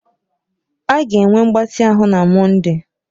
A ga-enwe mgbatị ahụ na Mọnde.